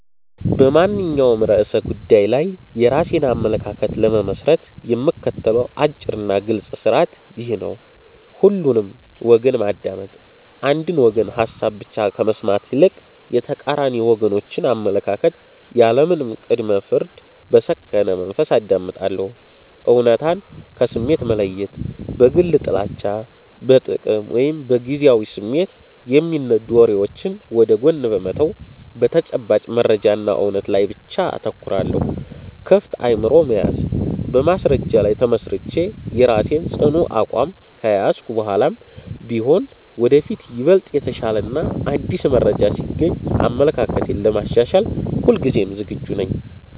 በማንኛውም ርዕሰ ጉዳይ ላይ የራሴን አመለካከት ለመመስረት የምከተለው አጭርና ግልጽ ሥርዓት ይህ ነው፦ ሁሉንም ወገን ማዳመጥ፦ የአንድን ወገን ሐሳብ ብቻ ከመስማት ይልቅ፣ የተቃራኒ ወገኖችን አመለካከት ያለምንም ቅድመ-ፍርድ በሰከነ መንፈስ አዳምጣለሁ። እውነታን ከስሜት መለየት፦ በግል ጥላቻ፣ በጥቅም ወይም በጊዜያዊ ስሜት የሚነዱ ወሬዎችን ወደ ጎን በመተው፣ በተጨባጭ መረጃና እውነት ላይ ብቻ አተኩራለሁ። ክፍት አእምሮ መያዝ፦ በማስረጃ ላይ ተመስርቼ የራሴን ጽኑ አቋም ከያዝኩ በኋላም ቢሆን፣ ወደፊት ይበልጥ የተሻለና አዲስ መረጃ ሲገኝ አመለካክቴን ለማሻሻል ሁልጊዜም ዝግጁ ነኝ።